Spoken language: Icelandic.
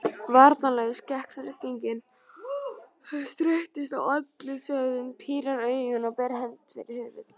Varnarlaus gegn rigningunni, strekkist á andlitsvöðvunum, pírir augun og ber hönd fyrir höfuð.